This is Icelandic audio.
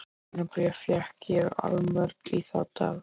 Hótunarbréf fékk ég allmörg í þá daga.